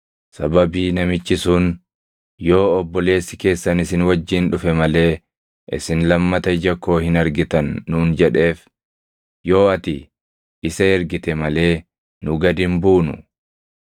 Sababii namichi sun, ‘Yoo obboleessi keessan isin wajjin dhufe malee isin lammata ija koo hin argitan’ nuun jedheef, yoo ati isa ergite malee nu gad hin buunu.”